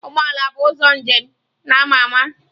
Ụgbọ ala bụ ụzọ njem na-ama ama.